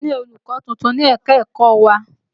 A ti ní olùkọ́ tuntun ní ẹ̀ka-ẹ̀kọ wa.